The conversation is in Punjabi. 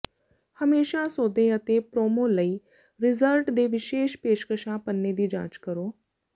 ਹਮੇਸ਼ਾ ਸੌਦੇ ਅਤੇ ਪ੍ਰੋਮੋ ਲਈ ਰਿਜ਼ਰਟ ਦੇ ਵਿਸ਼ੇਸ਼ ਪੇਸ਼ਕਸ਼ਾਂ ਪੰਨੇ ਦੀ ਜਾਂਚ ਕਰੋ